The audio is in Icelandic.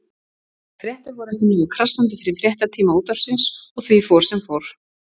Þær fréttir voru ekki nógu krassandi fyrir fréttatíma Útvarpsins og því fór sem fór.